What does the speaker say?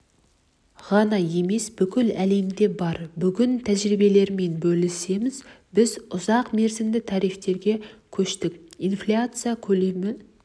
ғана емес бүкіл әлемде бар бүгін тәжірибелермен бөлісеміз біз ұзақ мерзімді тарифтерге көштік инфляция көлемі